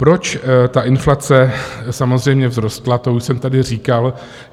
Proč ta inflace samozřejmě vzrostla, to už jsem tady říkal.